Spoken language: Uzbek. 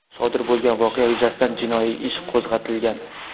Sodir bo‘lgan voqea yuzasidan jinoiy ish qo‘zg‘atilgan.